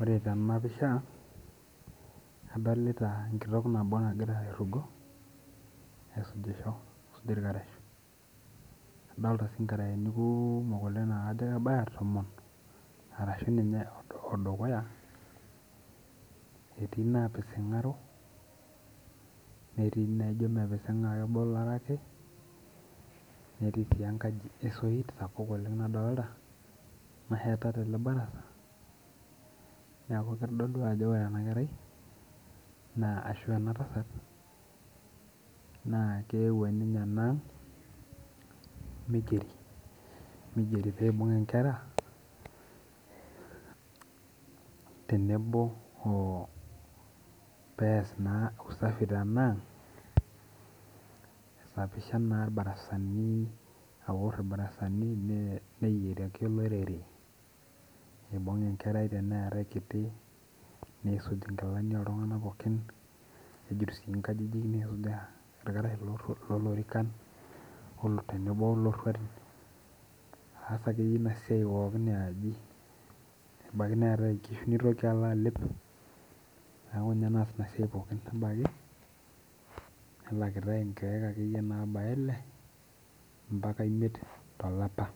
Ore tena pisha adolita enitok nabo nagira airrugo aisujisho aisuj irkarash adolita sii inkarayeni kuumok oleng naa kajo kebaya tomon arashu ninye odukuya etii inapising'aro netii naijo mepising'a keboloro ake netii sii enkaji esoit sapuk oleng nadolta naheta tele barasa niaku kitodolu ajo ore ena kerai naa ashu ena tasat naa keuo ninye ena ang migeri migeri peibung inkera tenebo oh pees naa usafi tenang aisapisha naa irbarasani aworr irbarasani mee neyiaraki olorere aibung enkera teneetae kiti neisuj inkilani oltung'anak pookin nejut sii inkajijik nisujaa irkarash loru lolorikan olo tenebo olorruatin aas akeyie ina siai pookin iaji ebaki neetae inkishu nitoki alo alep niaku ninye naas ina siai pookin nebaki nelakitae inkeek akeyie nabaya ile mpaka imiet tolapa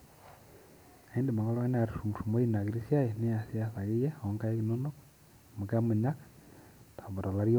naindim ake oltung'ani aturrumurrumoi ina kiti siai niasiyas akeyie amu kemunyak amu tolari.